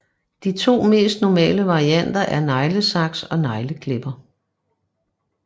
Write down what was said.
De to mest normale varianter er neglesaks og negleklipper